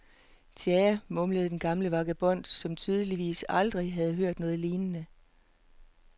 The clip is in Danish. Tja, mumlede en gammel vagabond, som tydeligvis aldrig havde hørt noget lignende.